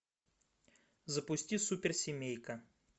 запусти суперсемейка